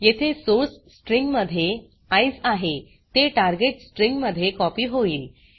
येथे source string मध्ये ECE आहे ते टार्गेट स्ट्रिंग मध्ये कॉपी होईल